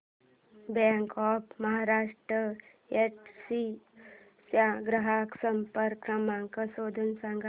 bank of Maharashtra Yedshi चा ग्राहक संपर्क क्रमांक शोधून सांग